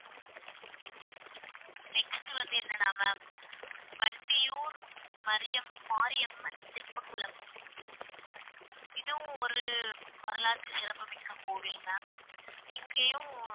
next வந்து என்னன்னா ma'am Vandiyur Mariyam Mariamman தெப்பக்குளம் இதுவும் ஒரு வரலாற்று சிறப்புமிக்க கோவில் ma'am இங்கேயும்